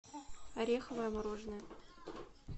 ореховое мороженое